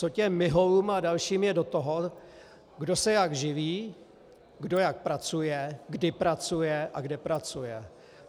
Co těm Miholům a dalším je do toho, kdo se jak živí, kdo jak pracuje, kdy pracuje a kde pracuje?